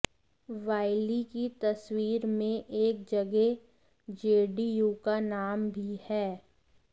वाइली की तस्वीर में एक जगह जेडीयू का नाम भी है